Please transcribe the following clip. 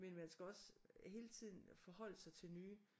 Men man skal også hele tiden forholde sig til nye